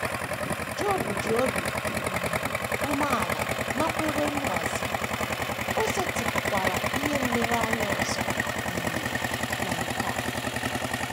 Job ji obi um umeala nakwere mgbazi, o setịpụkwara ihe nlereanya ọzọ um na nke a.